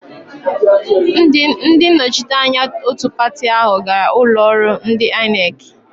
Ndị nnọchite anya òtù pati áhụ̀ gara ụlọọrụ ndị Aịnekị.